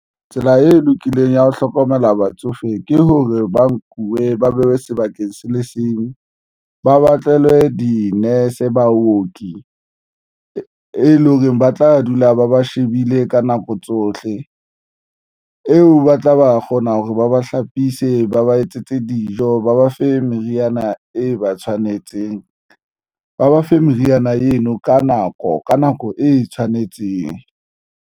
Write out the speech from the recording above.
Tsela e lokileng ya ho hlokomela batsofe ke hore ba nkuwe ba behwe sebakeng se le seng ba batlele di-nurse baoki, e leng hore ba tla dula ba ba shebile ka nako tsohle eo, ba tla ba kgona hore ba ba hlapise, ba ba etsetse dijo, ba ba fe meriana e ba tshwanetseng ba ba fe meriana eno ka nako ka nako e tshwanetseng.